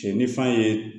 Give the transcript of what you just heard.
Cɛ ni fa ye